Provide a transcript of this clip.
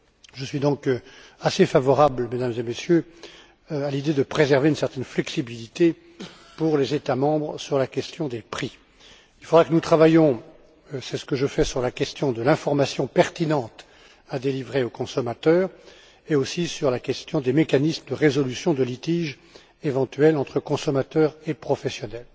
Je suis donc assez favorable, Mesdames et Messieurs, à l'idée de préserver une certaine flexibilité pour les États membres sur la question des prix. Nous devrons travailler et c'est ce que je fais, sur la question de l'information pertinente à délivrer aux consommateurs et aussi sur les mécanismes de résolution des litiges éventuels entre consommateurs et professionnels.